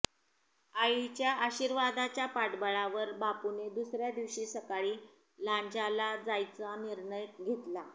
आईच्या आशीर्वादाच्या पाठबळावर बापूने दुसऱ्या दिवशी सकाळी लांजाला जायचा निर्णय घेतला